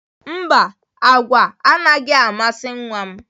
Mba, agwa anaghị amasị nwa m.